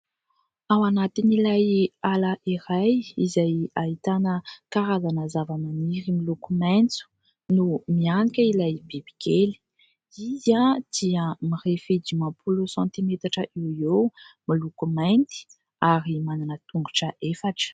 Ao anatin'ilay ala iray izay ahitana karazana zavamaniry miloko maitso no mihanika ilay bibikely. Izy dia mirefy dimampolo santimetatra eo ho eo, miloko mainty ary manana tongotra efatra.